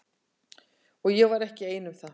Og ég var ekki ein um það.